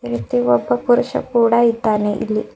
ಮತ್ತು ಒಬ್ಬ ಪುರುಷ ಕೂಡ ಇದ್ದಾನೆ ಇಲ್ಲಿ.